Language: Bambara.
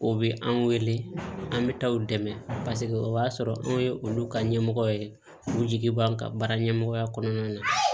O bɛ an wele an bɛ taa u dɛmɛ paseke o b'a sɔrɔ anw ye olu ka ɲɛmɔgɔ ye k'u jigi b'an kan baara ɲɛmɔgɔya kɔnɔna na